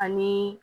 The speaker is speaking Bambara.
Ani